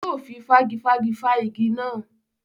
Yóò fi fágifági fá igi náà.